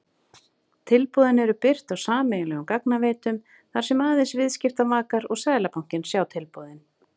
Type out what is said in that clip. Tilboðin eru birt á sameiginlegum gagnaveitum þar sem aðeins viðskiptavakar og Seðlabankinn sjá tilboðin.